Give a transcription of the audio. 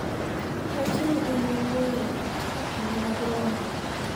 rach ni en wuoyo e kinde mag romo